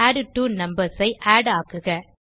add two numbers ஐ add ஆக்குக